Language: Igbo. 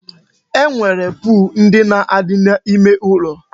E nwere pol ndị na-adị n'ime ụlọ